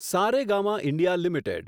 Saregama India limited